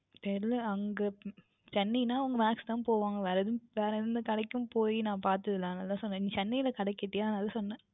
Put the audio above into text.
தெரியவில்லை அங்கே Chennai என்றால் Max க்கு தான் போவார்கள் வேறு எந்த கடைக்கு போய் நான் பார்த்தது இல்லை அதுதான் நீங்கள் Chennai ல கடை கேட்றிர்களே அதை தான் சொன்னேன்